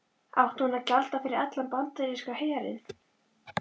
Átti hún að gjalda fyrir allan bandaríska herinn?